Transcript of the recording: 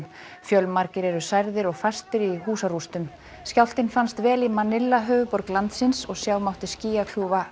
fjölmargir eru særðir og fastir í húsarústum skjálftinn fannst vel í höfuðborg landsins og sjá mátti